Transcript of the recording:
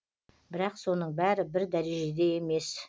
бірақ соның бәрі бір дәрежеде емес